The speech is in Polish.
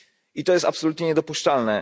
I to jest absolutnie niedopuszczalne.